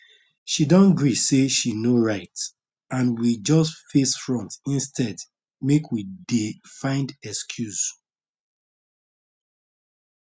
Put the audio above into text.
she don gree say she no right and we just face front instead make we dey find excuse